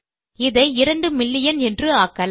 இதை 2 மில்லியன் என்று ஆக்கலாம்